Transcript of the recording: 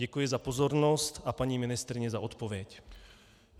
Děkuji za pozornost a paní ministryni za odpověď.